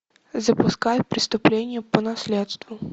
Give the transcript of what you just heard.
запускай преступление по наследству